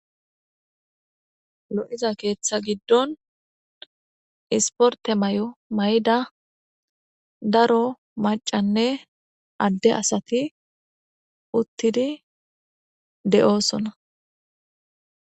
lo7iza keeththa giddon isporte may7o mayda daro macanne adde asati uttidi de7oosona